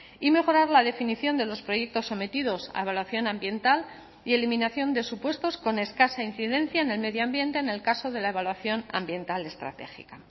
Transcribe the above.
y mejorar la definición de los proyectos sometidos a evaluación ambiental y eliminación de supuestos con escasa incidencia en el medio ambiente en el caso de la evaluación ambiental estratégica